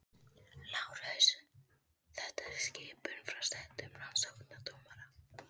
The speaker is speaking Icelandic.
LÁRUS: Þetta er skipun frá settum rannsóknardómara.